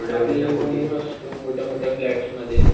आपल्याला मोठ्या मोट्या फ्लॅट्समध्ये